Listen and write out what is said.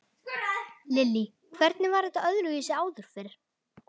Lillý: Hvernig var þetta öðruvísi áður fyrr?